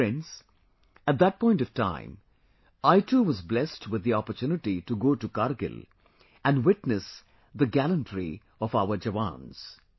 Friends, at that point of time, I too was blessed with the opportunity to go to Kargil and witness the gallantry of our Jawans